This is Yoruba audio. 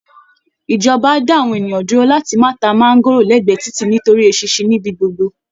Ìjọba á dá àwọn ènìyàn dúró láti máa ta máńgóòrò lẹ́gbẹ̀ẹ́ títì nítorí eṣinṣin níbi gbogbo